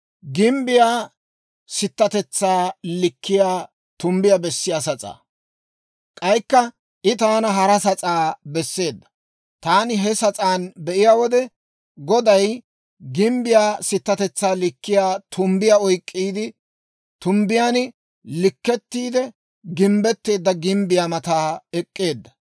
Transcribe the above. K'aykka I taana hara sas'aa besseedda. Taani he sas'aan be'iyaa wode, Goday gimbbiyaa sittatetsaa likkiyaa tumbbiyaa oyk'k'iide, tumbbiyaan likkettiide gimbbetteedda gimbbiyaa matan ek'k'eedda.